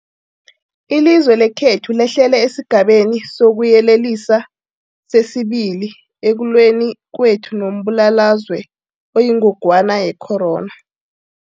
Ilizwe lekhethu lehlele esiGabeni sokuYelelisa sesi-2 ekulweni kwethu nombulalazwe oyingogwana ye-corona.